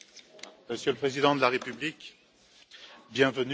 Monsieur le Président de la République, bienvenue.